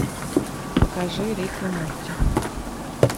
покажи рик и морти